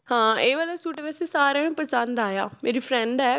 ਹਾਂ ਇਹ ਵਾਲਾ ਸੂਟ ਵੈਸੇ ਸਾਰਿਆਂ ਨੂੰ ਪਸੰਦ ਆਇਆ ਮੇਰੀ friend ਹੈ